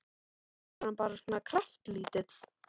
Eða var hann bara svona kraftlítill?